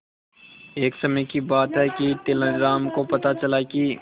एक समय की बात है कि तेनालीराम को पता चला कि